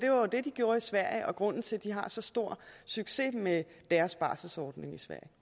jo det de gjorde i sverige og grunden til at de har så stor succes med deres barselsordning